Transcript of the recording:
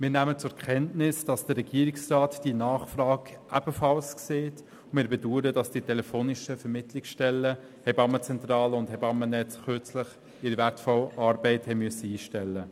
Wir nehmen zur Kenntnis, dass der Regierungsrat diese Nachfrage ebenfalls sieht und bedauern, dass die telefonischen Vermittlungsstellen, die Hebammenzentrale und das Hebammennetz, kürzlich ihre wertvolle Arbeit einstellen mussten.